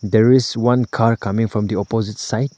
There is one car comming from the opposite side.